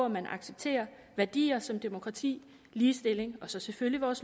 man accepterer værdier som demokrati ligestilling og så selvfølgelig vores